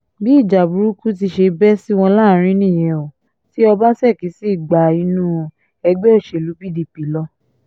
bí ìjà burúkú ti ṣe bẹ́ sí wọn láàrín nìyẹn o ti ọbaṣẹ́kí sì gba inú ẹgbẹ́ òṣèlú pdp lọ